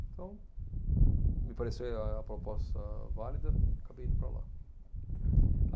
Então me pareceu a proposta válida, acabei indo para lá. Hum.